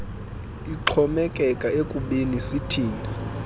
ixhomekeka ekubeni sithini